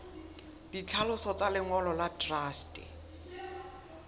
ditlhaloso tsa lengolo la truste